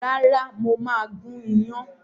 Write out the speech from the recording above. Rárá mo máa gún iyán